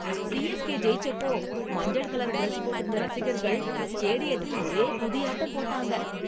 CSK ஜெயிச்சப்போ மஞ்சள் colour dress போட்டிருந்த ரசிகர்கள் ஸ்டேடியத்தில் ஒரே குதியாட்டம் போட்டாங்க.